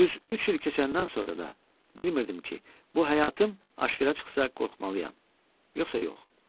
Düz üç il keçəndən sonra da bilmirdim ki, bu həyatım aşkara çıxsa qorxmalıyam, yoxsa yox.